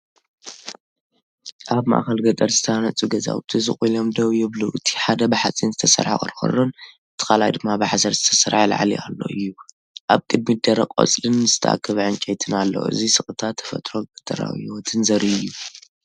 ኣብ ማእከል ገጠር ዝተሃንጹ ገዛውቲ ስቕ ኢሎም ደው ይብሉ። እቲ ሓደ ብሓጺን ዝተሰርሐ ቆርቆሮን፡ እቲ ካልኣይ ድማ ብሓሰር ዝተሰርሐ ላዕሊ ኣሎ እዩ። ኣብ ቅድሚት ደረቕ ቆጽልን ዝተኣከበ ዕንጨይትን ኣሎ። እዚ ስቕታ ተፈጥሮን ገጠራዊ ህይወትን ዘርኢ እዩ።"